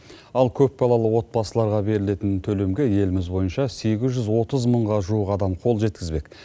ал көпбалалы отбасыларға берілетін төлемге еліміз бойынша сегіз жүз отыз мыңға жуық адам қол жеткізбек